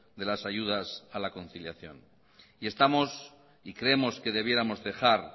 de las ayudas a la conciliación y estamos y creemos que debiéramos dejar